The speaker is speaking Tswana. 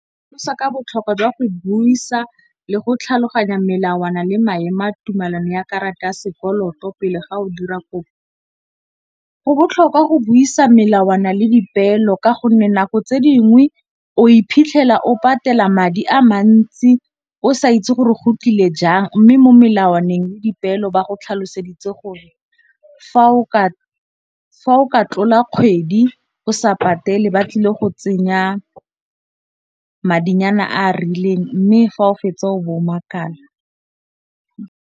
Go sa ka botlhokwa jwa go buisa le go tlhaloganya melawana le maemo a tumelano ya karata ya sekoloto pele ga o dira kopo. Go botlhokwa go buisa melawana le dipeelo ka gonne nako tse dingwe o iphitlhela o patela madi a mantsi o sa itse gore go tlile jang, mme mo molawaneng dipeelo ba go tlhaloseditse gore fa o ka tlola kgwedi o sa patele batlile go tsenya madinyana a a rileng mme fa o fetsa o bo o makala.